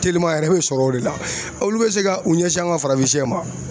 Telima yɛrɛ bɛ sɔrɔ o de la olu bɛ se ka u ɲɛsin an ka farafinsiyɛ ma.